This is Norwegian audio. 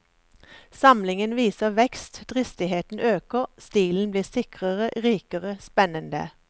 Samlingen viser vekst, dristigheten øker, stilen blir sikrere, rikere, spennende.